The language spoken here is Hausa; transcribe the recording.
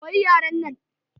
Koyi yaren nan!